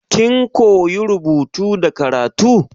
Kin koya rubutu da karatu?